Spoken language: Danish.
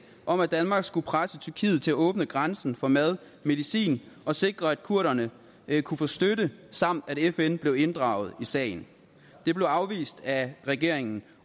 om at danmark skulle presse tyrkiet til at åbne grænsen for mad og medicin og sikre at kurderne kunne få støtte samt at fn blev inddraget i sagen det blev afvist af regeringen